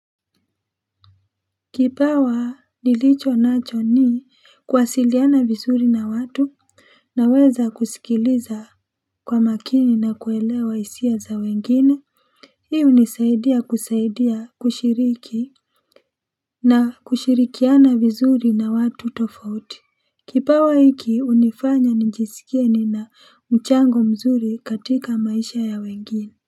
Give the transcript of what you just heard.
Kipawa nilichonacho ni kuwasiliana vizuri na watu Naweza kusikiliza kwa makini na kuelewa hisia za wengine Hii hunisaidia kusaidia kushiriki na kushirikiana vizuri na watu tofauti Kipawa hiki unifanya nijisikie nina mchango mzuri katika maisha ya wengine.